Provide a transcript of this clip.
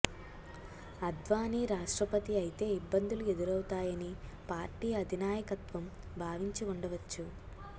అద్వానీ రాష్టప్రతి అయితే ఇబ్బందులు ఎదురవుతాయని పార్టీ అధినాయకత్వం భావించి ఉండవచ్చు